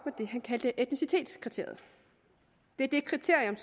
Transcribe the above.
det han kaldte etnicitetskriteriet det er det kriterium